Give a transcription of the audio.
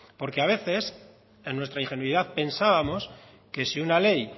porque a veces en nuestra ingenuidad pensábamos que si una ley